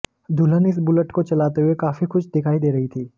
दुल्हन इस बुलेट को चलाते हुए काफी खुश दिखाई दे रही थी